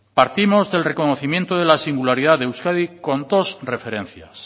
partimos del reconocimiento de la singularidad de euskadi con dos referencias